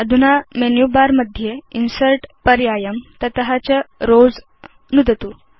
अधुना menu bar मध्ये insert पर्यायं तत च रोव्स नुदतु